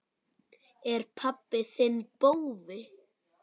Er pabbi þinn bófi?